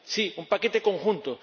Sí, un paquete conjunto.